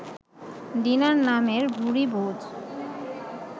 dinner নামের ভুরিভোজ